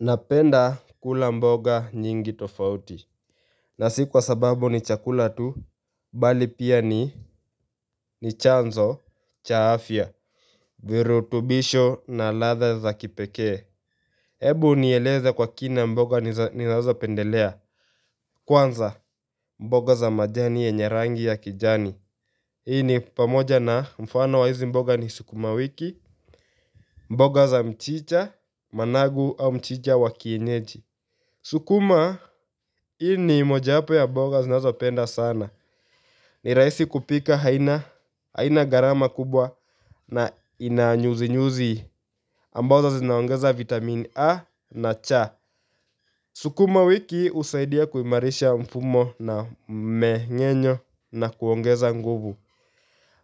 Napenda kula mboga nyingi tofauti na sikwa sababu ni chakula tu mbali pia ni ni chanzo Chaafya virutubisho na latha za kipekee Ebu nieleze kwa kina mboga ninazo pendelea Kwanza mboga za majani yenyerangi ya kijani Hii ni pamoja na mfano wa hizi mboga ni sukuma wiki mboga za mchicha managu au mchicha wakienyeji Sukuma hiini moja hapo ya mboga zinazo penda sana ni rahisi kupika haina gharama kubwa na inanyuzi nyuzi Amboza zinaongeza vitamini A na cha Sukuma wiki usaidia kuimarisha mfumo na mmengenyo na kuongeza nguvu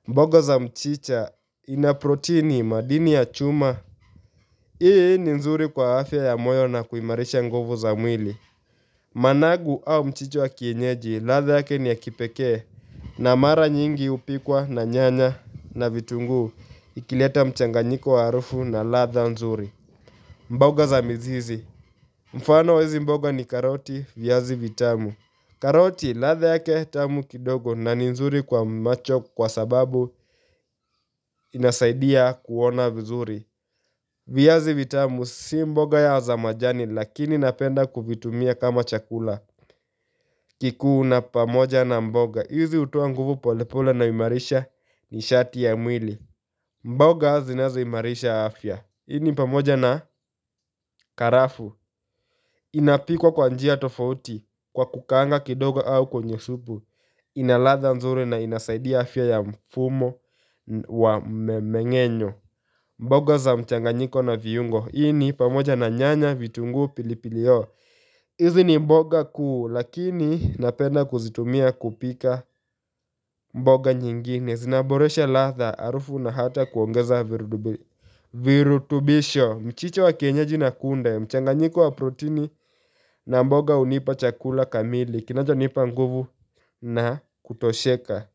mboga za mchicha ina proteini madini ya chuma hii ni nzuri kwa afya ya moyo na kuimarisha nguvu za mwili managu au mchicha wa kienyeji latha yake ni ya kipekee na mara nyingi upikwa na nyanya na vitunguu ikileta mchanganyiko wa harufu na latha nzuri mboga za mizizi Mfano wa hizi mboga ni karoti viazi vitamu karoti latha yake tamu kidogo na ni nzuri kwa macho kwa sababu inasaidia kuona vizuri viazi vitamu si mboga ya za majani lakini napenda kuvitumia kama chakula kikuu na pamoja na mboga, hizi hutoa nguvu polepola na imarisha ni shati ya mwili mboga zinazo imarisha afya, hii ni pamoja na karafu Inapikwa kwanjia tofauti kwa kukanga kidogo au kwenye supu Inalatha nzuri na inasaidia afya ya mfumo wa mmengenyo mboga za mchanganyiko na viungo, ini pamoja na nyanya vitunguu pilipili hoho Izi ni mboga kuu lakini napenda kuzitumia kupika mboga nyingine Zinaboresha latha arufu na hata kuongeza virutubisho Mchicho wa kienyaji na kunde mchanganyiko wa proteini na mboga unipa chakula kamili Kinacho nipa nguvu na kutosheka.